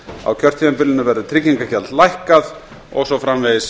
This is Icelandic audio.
á kjörtímabilinu verður tryggingagjald lækkað og svo framvegis